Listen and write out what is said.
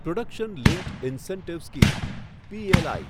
production linked incentive scheme PLI